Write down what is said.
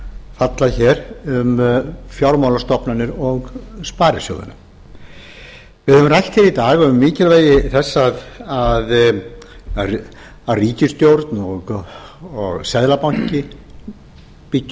falla hér um fjármálastofnanir og sparisjóðina við höfum rætt hér í dag um mikilvægi þess að ríkisstjórn og seðlabanki byggi